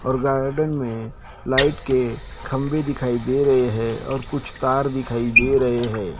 और गार्डन में लाइट के खंभे दिखाई दे रहे हैं और कुछ तार दिखाई दे रहे हैं।